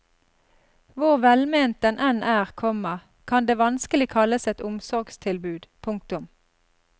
Hvor velment den enn er, komma kan det vanskelig kalles et omsorgstilbud. punktum